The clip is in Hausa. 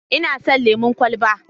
Ina son lemon kwalaba.